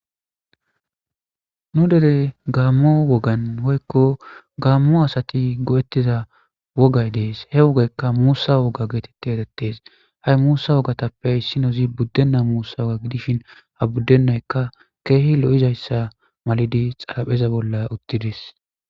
nu deley gaammo wogan hoykko gaammo asati go7ettiza wogay dees he wogaykka muusa woga geetette erettes ha7i muusa wogatappe issinozi buddenna muussa wga gidishin ha buddennaykka keehi lo7izayssa malidi xalapheza bolla uttides